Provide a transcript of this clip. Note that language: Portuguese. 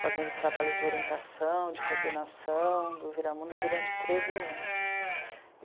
fazendo trabalho de orientação, de coordenação do Viramundo durante treze anos.